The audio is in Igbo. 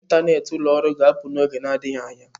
ntanet ụlọ ọrụ ga-apụ n'oge adịghị anya.